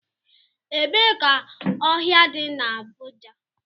Ebee ka ohia di na Abuja?